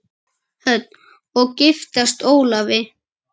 Hödd: Og giftast Ólafi?